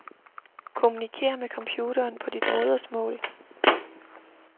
Kommunikér med computeren på dit modersmål.